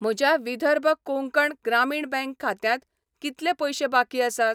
म्हज्या विदर्भ कोंकण ग्रामीण बँक खात्यांत कितले पयशे बाकी आसात?